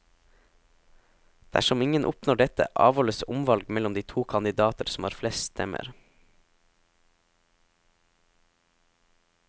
Dersom ingen oppnår dette, avholdes omvalg mellom de to kandidater som har flest stemmer.